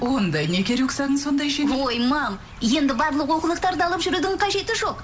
онда неге рюкзагің сондай жеңіл ой мам енді барлық оқулықтарды алып жүрудің қажеті жоқ